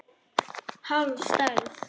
Hálf stærð.